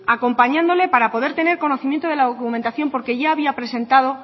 acompañándole para poder tener conocimiento de la documentación porque ya había presentado